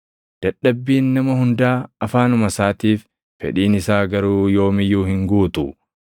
Dadhabbiin nama hundaa afaanuma isaatiif; fedhiin isaa garuu yoom iyyuu hin guutu.